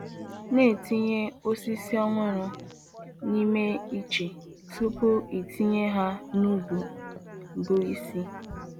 Na-etinye osisi ọhụrụ n’ime iche tupu itinye ha n’ubi bụ isi